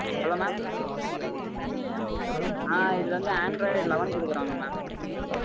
hello mam ஆஹ் இது வந்து androideleven குடுக்கிறாங்க mam